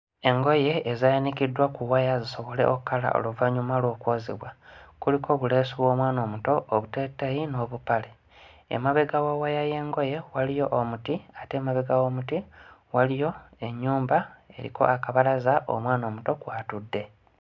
Engoye ezaayanikiddwa ku waya zisobole okkala oluvannyuma lw'okwozebwa. Kuliko obuleesu bw'omwana omuto, obuteeteeyi n'obupale. Emabega wa waya y'engoye waliyo omuti ate emabega w'omuti waliyo ennyumba eriko akabalaza omwana omuto kw'atudde.